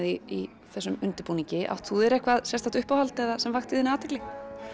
í þessum undirbúningi átt þú þér eitthvað sérstakt uppáhald eða sem vakti þína athygli